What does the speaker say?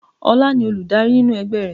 Ola ni Olùdarí nínú ẹgbẹ́ rẹ̀